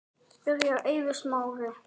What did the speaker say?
Byrjar Eiður Smári?